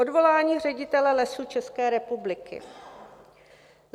Odvolání ředitele Lesů České republiky.